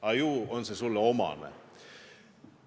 Aga ju on see sulle omane.